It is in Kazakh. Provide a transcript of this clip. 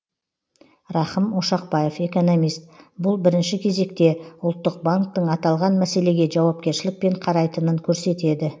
рахым ошақбаев экономист бұл бірінші кезекте ұлттық банктің аталған мәселеге жауапкершілікпен қарайтынын көрсетеді